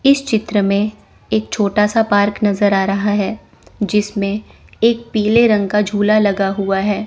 इस चित्र में एक छोटा सा पार्क नज़र आ रहा है जिसमें एक पीले रंग का झूला लगा हुआ है।